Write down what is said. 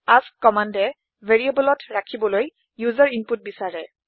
এএছকে কম্মান্দে ভেৰিয়েবলত ৰাখিবলৈ ওচেৰ ইনপুট বিচাৰে